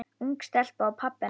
Ung stelpa og pabbi hennar.